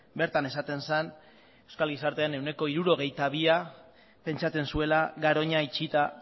bertan esaten zen euskal gizartearen ehuneko hirurogeita bia pentsatzen zuela garoña itxita